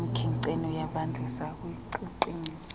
emkhenkceni ukuyibandisa ukuyiqinisa